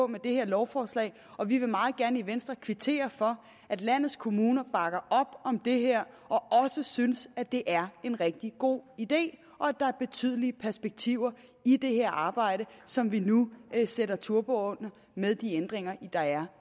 med det her lovforslag og vi vil meget gerne i venstre kvittere for at landets kommuner bakker op om det her og også synes at det er en rigtig god idé og at der er betydelige perspektiver i det her arbejde som vi nu sætter turbo på med de ændringer der er